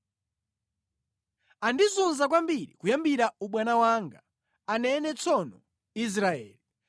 “Andizunza kwambiri kuyambira ubwana wanga,” anene tsono Israeli;